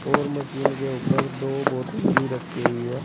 और मशीन के ऊपर दो बोतल भी रखी हुई है।